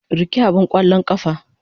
Rike abin ƙwallon ƙafa.